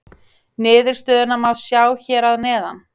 Niðurstöðuna má sjá hér að neðan.